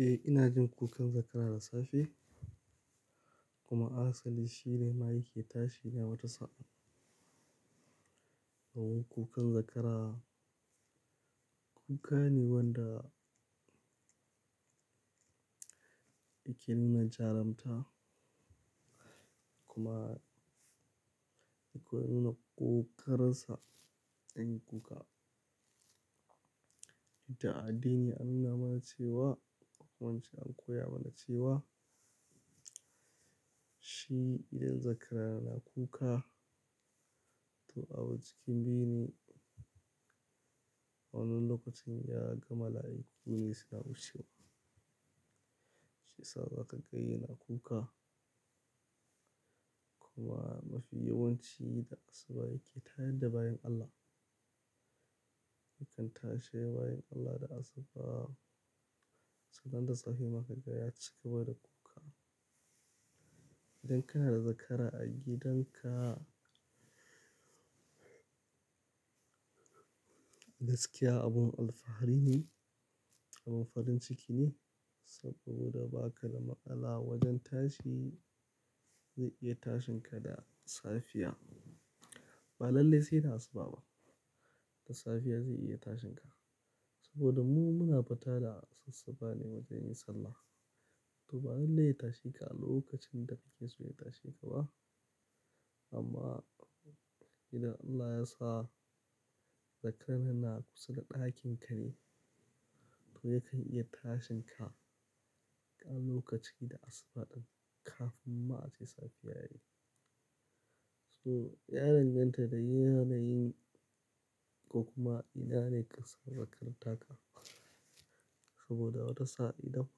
Eh, ina jin kukan zakara da safe kuma asali shi ne ma yake tashi ne wata sa'ad. Kaman kukan zakara, kuka ne wanda yake nuna jarumta kuma akwai nuna ƙoƙarin sa ɗan kuka. To a addini an nuna mana cewa, kuma in ce an koya mana cewa shi idan zakara yana kuka, to abu cikin biyu ne a wannan lokacin ya gama mala'iku ne suna wucewa. Shiya sa za ka ga yana kuka kuma mafi yawanci da asuba yake tayadda bayin Allah. Yakan tashe bayan Allah da asuba, sannan da safe ma ka ga ya cigaba da kuka. Idan kana da zakara a gidanka, gaskiya abin alfahari ne, abin farin ciki ne saboda baka da matsala wajen tashi zai iya tashin ka da safiya. Ba lalle sai da asuba ba, da safiya zai iya tashin ka. Saboda mu muna fita da asassaɓa ne wajen yin sallah. To ba lalle ya tashe ka a lokacin da kake so ya tashe ka ba. Amma idan Allah ya sa zakaran na kusa da ɗakin ka ne, to yakan iya tashin ka kan lokaci da asuba ɗin kafin ma a ce safiya yayi. To ya danganta da yanayin ko kuma ina ne ƙasar wakar taka. Saboda wata sa'a idan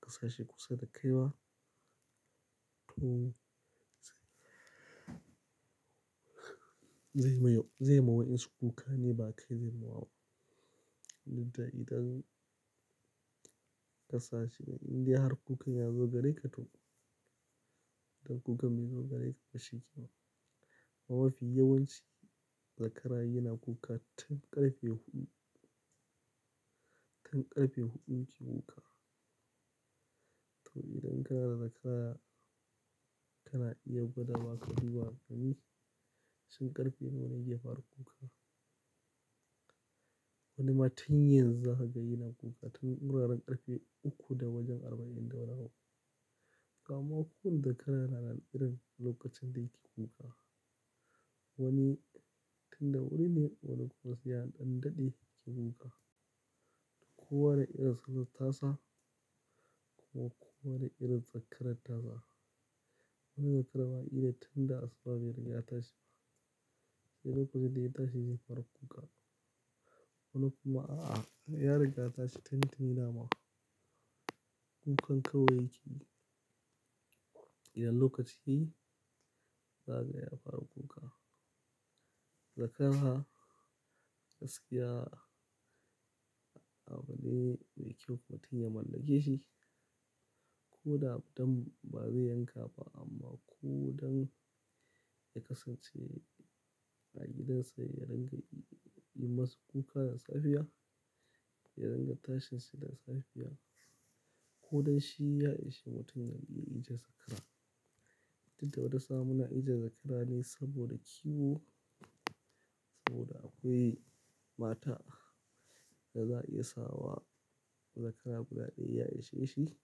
baka sashi kusa da kai ba, to zai mai-- yau, zai ma wayensu kuka ne ba kai zai ma wa. Inda idan ka sa shi indai har kukan ya zo gare ka to, idan kuka bai zo gare ka ba shi kenan. Amma mafi yawanci zakara yana kuka tun ƙarfe huɗu, tun ƙarfe huɗu yake kuka. To idan kana da zakara kana iya gwada wa ƙa duba ka gani shin ƙarfe nawa ne yake fara kuka. Wani ma tun yanzu zaka ga yana kuka tun wuraren ƙarfe uku da wajen arba'in da nawa. To amma ko wanne zakara yana da irin lokacin da yake kuka. Wani tun da wuri ne wani ƙuma sai ya dan ɗaɗe yake kuka. Kowa da irin sanar tasa ko kuma kowa da irin zakara tasa. Wani zakaran ma kila tun da asuba bai riga ya tashi ba. Sai lokacin da ya tashi zai fara kuka. Wani kuma a'a, ya riga ya tashi tun tuni dama. Kukan kawai yakeyi idan lokaci ya yi zaka ga ya fara kuka. Zakara gaskiya abune mai kyau mutum ya mallake shi. Ko da dan ba zai yanka ba amma ko don ya kasance a gidansa ya ranga yi masa kuka da safiya, ya ranga tashinsa da safiya ko don shi ya ishei mutum ya ijiye zakara. Tunda wata sa'a muna ijiye zakara ne saboda kiwo, saboda akwai mata da za a iya sawa zakara guda ɗaya ya ishe shi,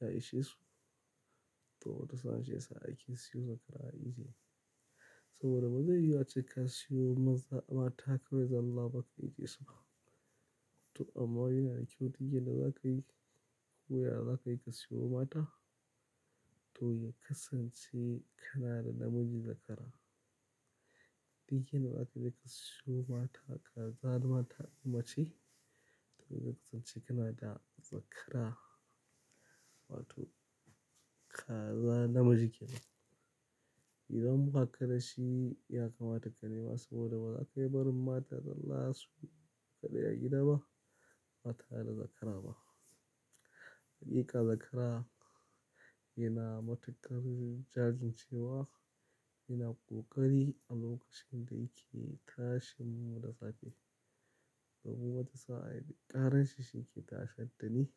ya ishe su. To wata sa'a shi yasa ake siyo zakara a ijiye. Saboda ba zai yi ace ka siyo maza mata kawai zalla ba ka ijiye su ba. To amma yana da kyau duk yanda za ka yi, ko yaya za ka yi ka siyo mata to ya kasance ƙanada namijin zakara. Duk inda za ka je ka siyo mata kazar mata mace to zai kasance ƙanada zakara. Wato kaza namiji kenan. Idan baka da shi ya kamata ka nema saboda ba za ka iya barin mata zalla su kadai a gida ba, ba tare da zakara ba. Hakika zakara yana matukar jajin cewa, yana ƙoƙari a lokacin da yake tashinmu da safe. Saboda wata sa'a ƙaran shi shi yake tashi addini.